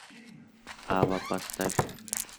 ава поставь